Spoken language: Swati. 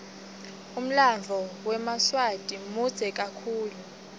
umlanduo wemaswati mudze kakhulu